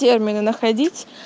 термины находить